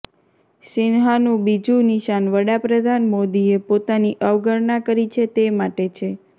સિંહાનું બીજું નિશાન વડા પ્રધાન મોદીએ પોતાની અવગણના કરી છે તે માટે છે